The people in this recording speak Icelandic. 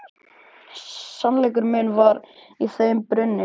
Sannleikur minn var í þeim brunni.